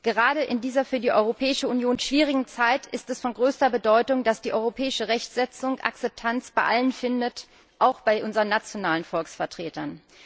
Gerade in dieser für die Europäische Union schwierigen Zeit ist es von größter Bedeutung, dass die europäische Rechtsetzung Akzeptanz bei allen findet, auch bei unseren nationalen Volksvertretern.